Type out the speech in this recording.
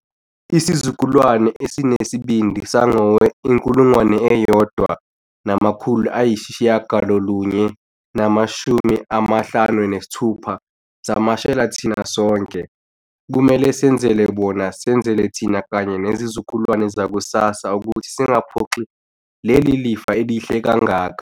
Isizukulwane esinesibindi sangowe-1956 samashela thina sonke. Kumele senzele bona, senzele thina kanye nezizukulwane zakusasa ukuthi singaphoxi leli lifa elihle kangaka.